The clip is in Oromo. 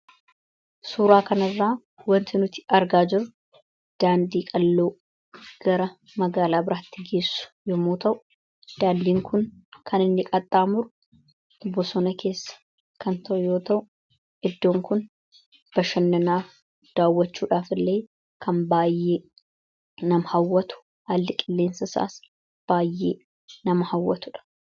Suuraa kan irraa wanti nuti argaa jiru daandii-qalloo gara magaalaa biraatti geessu yomuu ta'u daandiin kun kan inni qaxxaamuru bosona keessa kan toyoo ta'u eddoon kun bashannanaaf daawwachuudhaaf illee kan baayyee nama hawwatu halli qilleensa isaas baayyee nama hawwatudha.